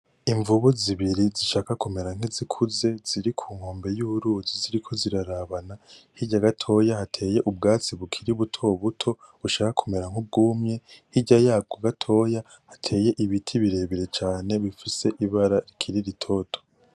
Imvubu zibiri zishaka kumera nkizikuze, ziri ku nkombe y'uruzi ziriko zirarabana. Hirya gatoya hateye ubwatsi bukiri buto buto, bushaka kumera nk'ubwumye, hirya yabwo gatoya hateye ibiti birebire cane bifise ibara rikiri ritoto.